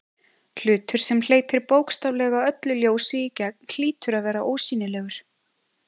Hlutur sem hleypir bókstaflega öllu ljósi í gegn hlýtur að vera ósýnilegur.